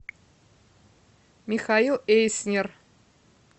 михаил эйснер